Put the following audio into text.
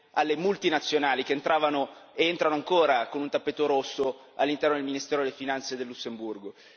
alle multinazionali che entravano ed entrano ancora con un tappeto rosso all'interno del ministero delle Finanze del Lussemburgo.